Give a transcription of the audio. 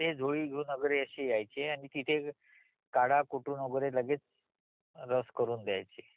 मी हे ऐकून आहे ते झोळी घेऊन वगैरे असे यायचे आनिओ तिथे काढा कुटून वगैरे लगेच रस करून द्यायचे